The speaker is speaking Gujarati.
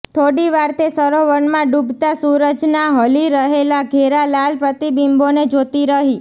થોડી વાર તે સરોવરમાં ડૂબતા સૂરજનાં હલી રહેલા ઘેરા લાલ પ્રતિબિંબોને જોતી રહી